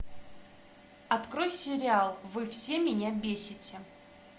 открой сериал вы все меня бесите